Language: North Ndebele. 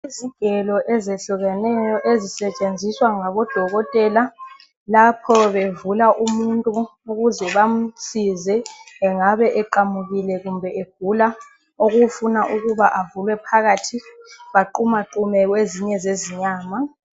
Izigelo ezehlukeneyo ezisetshenziswa ngabodokotela. Lapho bevula umuntu ukuze bamsize. Angabe eqamukile kumbe egula. Okufuna ukuba avulwe phakathi. Baqumaqume, kwezinye zezinyama.